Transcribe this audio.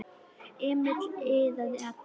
Emil iðaði allur.